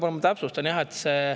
Jaa, ma täpsustan.